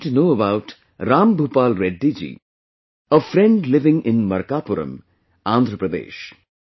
I came to know about Ram Bhupal Reddy ji, a friend living in Markapuram, Andhra Pradesh